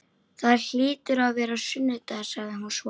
Það hlýtur að vera sunnudagur, sagði hún svo.